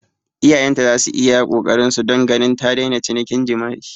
Iyayenta za su yi iya ƙoƙarinsu don ganin ta daina cinikin jima'i.